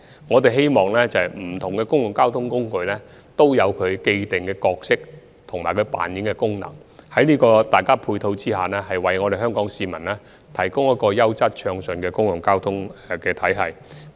我們希望不同的交通工具都有既定的角色及功能，在各方面的配套下，為香港市民提供一個優質、暢順的公共交通系統。